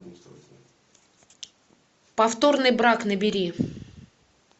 повторный брак набери